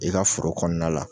I ka foro kɔnɔna la.